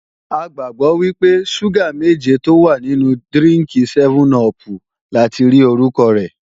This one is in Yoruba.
A gbàgbọ́ wípé, ṣúgà méje tó wà nínú dírínkì sẹ́mẹ́n-upù lati rí orúkọ rẹ̀